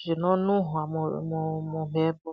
zvinonhuwa mumhepo